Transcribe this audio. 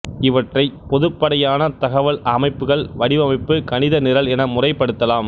இவற்றைப் பொதுப்படையான தகவல் அமைப்புகள் வடிவமைப்பு கணித நிரல் என முறைப்படுத்தலாம்